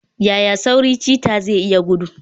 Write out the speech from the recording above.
Yaya sauri cheetah zai iya gudu?